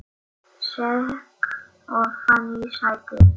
Sekk ofan í sætið.